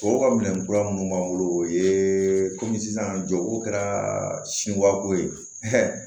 Tɔw ka minɛ kura minnu b'an bolo o ye komi sisan jɔ ko kɛra sinwako ye